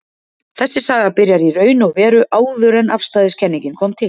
Þessi saga byrjar í raun og veru áður en afstæðiskenningin kom til.